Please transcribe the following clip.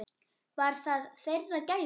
Var það þeirra gæfa.